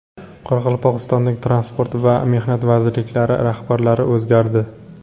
Qoraqalpog‘istonning Transport va Mehnat vazirliklari rahbarlari o‘zgardi.